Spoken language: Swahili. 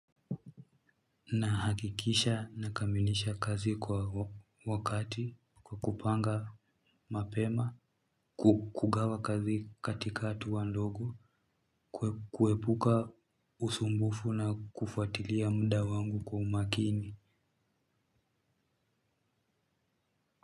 Na hakikisha na kamilisha kazi kwa wakati kwa kupanga mapema kukugawa kazi katika atua ndogo kuepuka usumbufu na kufwatilia muda wangu kwa umakini.